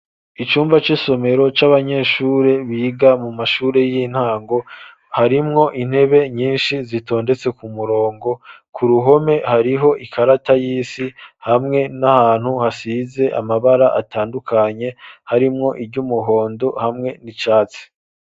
Icumba c'isomero, c'abanyeshure, biga mu mashure y'intango, harimwo intebe, nyinshi, zitondetse ku murongo; ku ruhome, hariho ikarata y'isi, hamwe n'ahantu, hasize amabara, atandukanye, harimwo iry'umuhondo, hamwe n'icatsi.